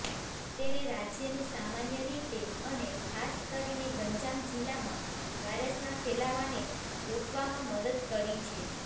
તેણે રાજ્યને સામાન્ય રીતે અને ખાસ કરીને ગંજામ જિલ્લામાં વાયરસના ફેલાવાને રોકવામાં મદદ કરી છે